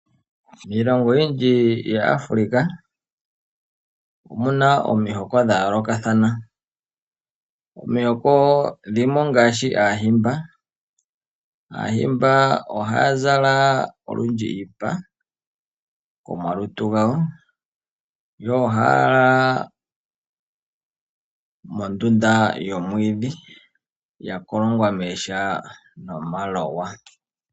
Miilongo oyindji yaAfrica omuna omihiko dha yoolokothana. Omihoko dhimwe ongaashi Aahimba ohaya zala olundji iipa komalutu gawo. Yo ohaya lala mondunda yomwiidhi yakolongwa mooha nomaloya.